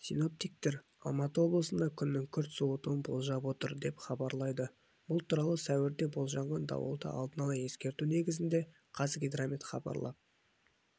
синоптиктер алматы облысында күннің күрт суытуын болжап отыр деп хабарлайды бұл туралы сәуірде болжанған дауылды алдын ала ескерту негізінде қазгидромет хабарлап